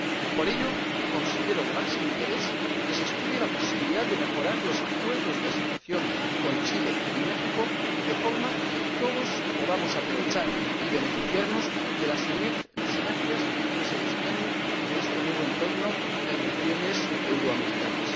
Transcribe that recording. Por eso considero de máximo interés que se estudie la posibilidad de mejorar los acuerdos de asociación con Chile y México, de forma que todos podamos aprovechar y beneficiarnos de las sinergias que se desprenden de este nuevo entorno de relaciones euroamericanas.